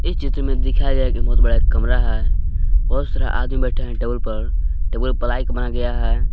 इस चित्र में दिखाया गया कि बहुत बड़ा एक कमरा है बहुत सारा आदमी बैठे हैं टेबल पर टेबल प्लाई बनाया गया है।